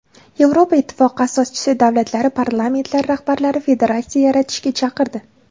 Yevropa Ittifoqi asoschi davlatlari parlamentlari rahbarlari federatsiya yaratishga chaqirdi.